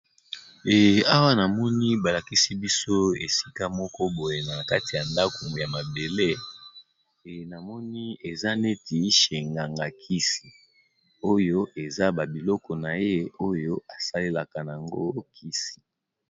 Eh awa namoni ba lakisi biso esika moko boye na kati ya ndaku ya mabele e namoni eza neti chez nganga kisi, oyo eza ba biloko na ye oyo asalelaka nango kisi.